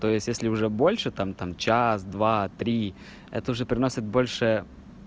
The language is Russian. то есть если уже больше там там час два три это уже приносит больше